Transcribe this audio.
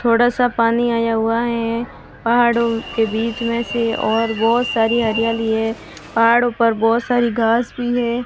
थोड़ा सा पानी आया हुआ है पहाड़ों के बीच में से और बहोत सारी हरियाली है पहाड़ों पर बहोत सारी घास भी है।